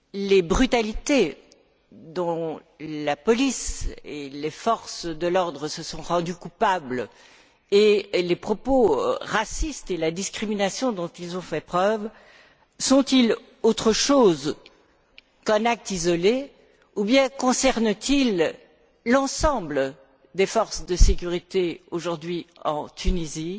Les brutalités dont la police et les forces de l'ordre se sont rendues coupables, les propos racistes et la discrimination dont elles ont fait preuve sont ils autre chose qu'un acte isolé ou bien concernent ils l'ensemble des forces de sécurité aujourd'hui en Tunisie?